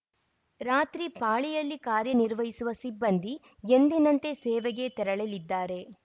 ರಾತ್ರಿ ಪಾಳಿಯಲ್ಲಿ ಕಾರ್ಯನಿರ್ವಹಿಸುವ ಸಿಬ್ಬಂದಿ ಎಂದಿನಂತೆ ಸೇವೆಗೆ ತೆರಳಲಿದ್ದಾರೆ